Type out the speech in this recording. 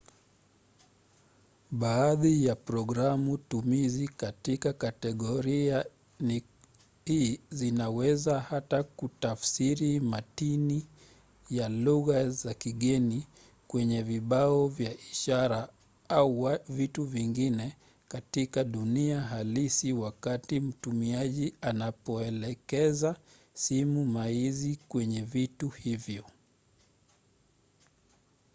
baadhi ya programu-tumizi katika kategoria hii zinaweza hata kutafsiri matini ya lugha za kigeni kwenye vibao vya ishara au vitu vingine katika dunia halisi wakati mtumiaji anapoelekeza simu maizi kwenye vitu hivyo